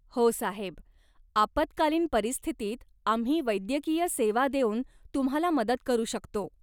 हो साहेब. आपत्कालीन परिस्थितीत आम्ही वैद्यकीय सेवा देऊन तुम्हाला मदत करू शकतो.